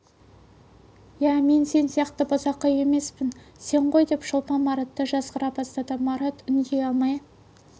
ия мен сен сияқты бұзақы емеспін сен ғой деп шолпан маратты жазғыра бастады марат үндей алмай